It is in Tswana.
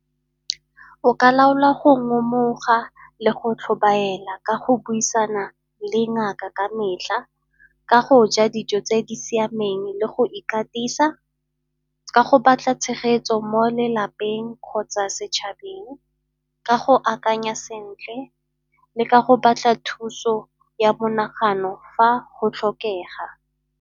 O ka laolwa go ngomoga le go tlhobaela ka go buisana le ngaka ka metlha, ka go ja dijo tse di siameng le go ikatisa, ka go batla tshegetso mo lelapeng kgotsa setšhabeng, ka go akanya sentle le ka go batla thuso ya monagano fa go tlhokega.